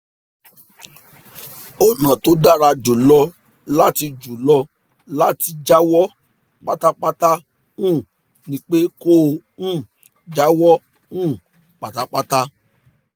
ọ̀nà tó dára jù lọ láti jù lọ láti jáwọ́ pátápátá um ni pé kó o um jáwọ́ um pátápátá